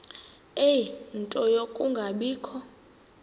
ie nto yokungabikho